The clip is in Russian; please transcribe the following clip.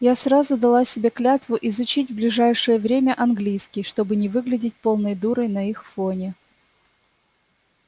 я сразу дала себе клятву изучить в ближайшее время английский чтобы не выглядеть полной дурой на их фоне